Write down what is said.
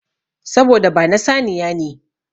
Saboda ba na saniya ne.